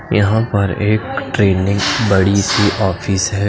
यहाँ पे एक ट्रेंनिंग बड़ी सी ऑफिस हैं।